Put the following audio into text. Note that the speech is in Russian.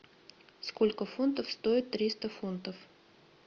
сколько фунтов стоит триста фунтов